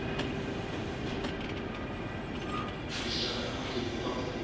ku cincana ka matiko ka pfuna